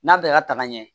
N'a bɛɛ ka taga ɲɛ